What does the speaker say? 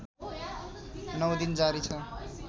९ दिन जारी छ